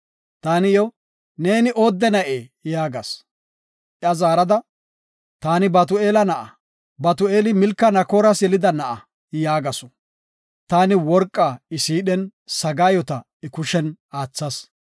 “Taani iyo, ‘Neeni oodde na7ee?’ yaagas. “Iya zaarada, ‘Taani Batu7eela na7aa; Batu7eeli, Milka Naakoras yelida na7a’ yaagasu. Taani worqa I siidhen, sagaayota I kushen aathas.